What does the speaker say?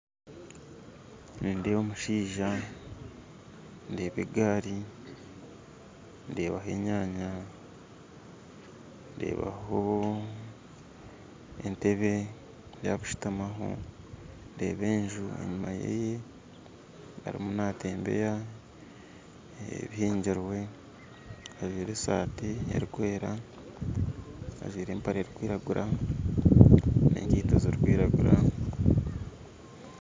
Nindeeba omushaija, ndeeba egaari, ndeeba enyanya, ndebahoo, entebe eyakushitamaho, ndeeba enju enyima yeeye, arimu natembeya ebihingirwe, ajwire esaati erikwera, ajwire empare erikwiragura, nenkito zirikwiragura